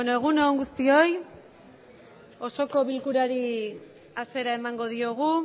egun on guztioi osoko bilkurari hasiera emango diogu